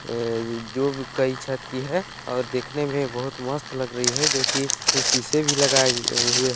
ए-- जो भी कई छत की है और देखने में बहुत मस्त लग रही है जो कि शीशे भी लगाए हुए--